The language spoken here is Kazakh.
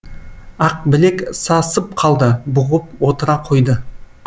ақбілек са сып қалды бұғып отыра қойды